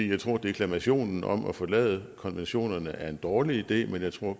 jeg tror at deklamationen om at forlade konventionerne er en dårlig idé men jeg tror